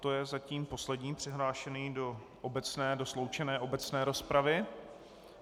To je zatím poslední přihlášený do sloučené obecné rozpravy.